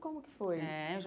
Como que foi? É eu já